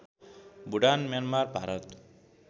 Bhutan Myanmar Bharat